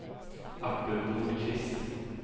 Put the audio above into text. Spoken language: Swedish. Artur Nordqvist